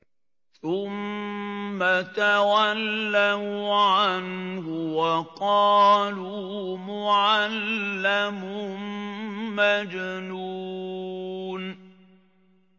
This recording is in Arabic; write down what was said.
ثُمَّ تَوَلَّوْا عَنْهُ وَقَالُوا مُعَلَّمٌ مَّجْنُونٌ